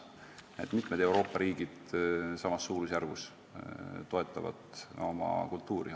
Mitmed Euroopa riigid toetavad kultuuri samas suurusjärgus.